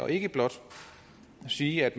vi ikke blot siger at